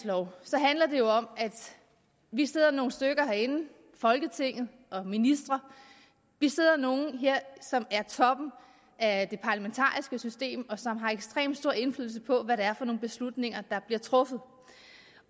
at vi om at vi sidder nogle stykker herinde folketinget og ministre som er toppen af det parlamentariske system og som har ekstremt stor indflydelse på hvad det er for nogle beslutninger der bliver truffet